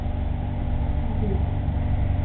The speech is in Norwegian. mobil